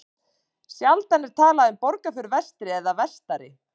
Sjaldan er talað um Borgarfjörð vestri eða vestari.